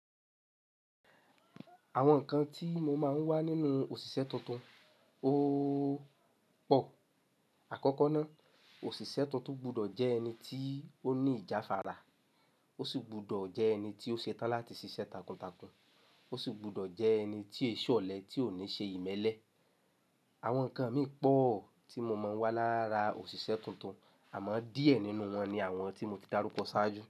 Àwọn nǹkan tí mo máa ń wá nínú òṣìṣẹ́ tuntun ó pọ̀. Àkọ́kọ́ náà, òṣìṣẹ́ tuntun gbọdọ̀ jẹ́ ẹni tí ó ní ìjáfàrà, ó sì gbọdọ̀ jẹ́ ẹni tí ó ṣe tán láti ṣiṣẹ́ takuntakun, ó sì gbọdọ̀ jẹ́ ẹni tí è ṣọ̀lẹ̀ tí ò ní ṣe ìmẹ́lẹ́. Àwọn nǹkan mì pọ̀o tí mo máa ń wá lára òṣìṣẹ́ tuntun, àmọ́ díẹ̀ nínú wọn ni àwọn tí mo ti darúkọ ṣáájú.